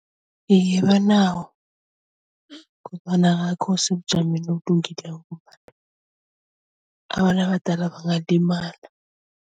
Iye banawo sebujameni obulungileko ngombana abantu abadala bangalimala.